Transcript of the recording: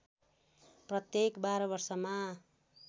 प्रत्येक १२ वर्षमा